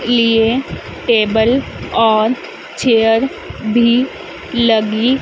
लिए टेबल और चेयर भी लगी--